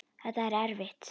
Þetta er erfitt.